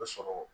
O sɔrɔ